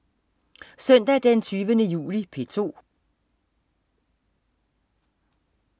Søndag den 20. juli - P2: